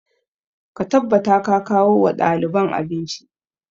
Ka tabbata ka kawo wa ɗaliban abinci!